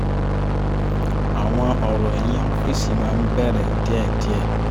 àwọn ọ̀rọ̀ ẹ̀yin ọ́fìsì máa ń bẹ̀rẹ̀ díẹ̀díẹ̀